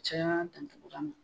Caya dandugura ma